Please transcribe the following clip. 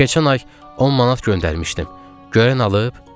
Keçən ay 10 manat göndərmişdim, görən alıb?